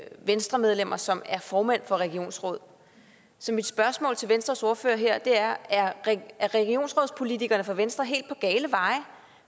venstremedlemmer som er formænd for regionsråd så mit spørgsmål til venstres ordfører her er er regionsrådspolitikerne fra venstre helt på gale veje